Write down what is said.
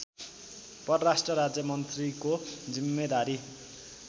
परराष्ट्र राज्यमन्त्रीको जिम्मेदारी